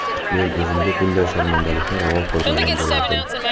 Men o‘zimga bunday sharmandalikni ravo ko‘rmagan bo‘lardim.